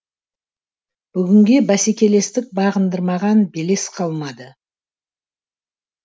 бүгінде бәсекелестік бағындырмаған белес қалмады